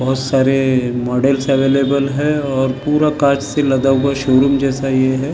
बहुत सारे models available हैं और पूरा कांच से लदा हुआ शोरूम जैसा यह है ।